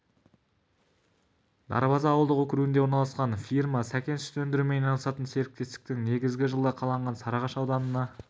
дарбаза ауылдық округінде орналасқан фирма сакен сүт өндірумен айналысатын серіктестіктің негізі жылы қаланған сарыағаш ауданына